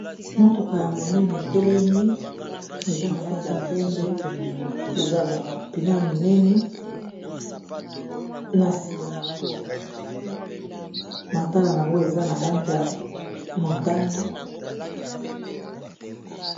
mutuka ya monene etelemi eza na langi ya pembe eza na mapine ya minene na nsima na ngo matala na yango eza na lange ya motane